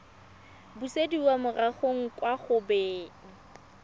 busediwa morago kwa go beng